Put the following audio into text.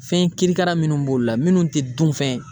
Fɛn kirikara minnu b'olu la minnu ti dunfɛn